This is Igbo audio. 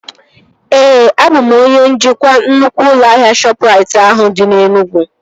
Ee, abụ m onye njikwa nnukwu ụlọ ahịa Shọpụrait ahụ dị na Enugwu